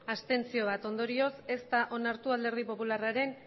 abstentzioak bat ondorioz ez da onartu alderdi popularraren